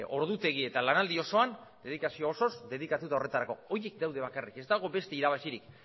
ordutegi eta lanaldi osoan dedikazio osoz dedikatuta horretarako horiek daude bakarrik ez dago beste irabazirik